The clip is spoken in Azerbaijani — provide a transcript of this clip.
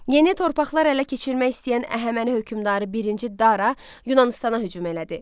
Yeni torpaqlar ələ keçirmək istəyən Əhəməni hökmdarı birinci Dara Yunanıstana hücum elədi.